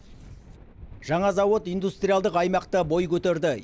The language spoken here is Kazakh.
жаңа зауыт индустриалдық аймақта бой көтерді